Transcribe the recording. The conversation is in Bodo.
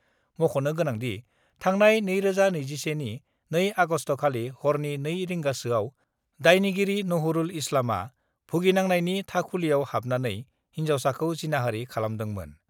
मख'नो गोनांदि, थांनाय 2021 नि 2 आगस्टखालि हरनि 2.00 रिंगासोआव दायनिगिरि नहरुल इस्लामआ भुगिनांनायनि थाखुलिआव हाबनानै हिन्जावसाखौ जिनाहारि खालामदोंमोन।